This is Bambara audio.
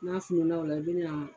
N'a fununa o la i bɛna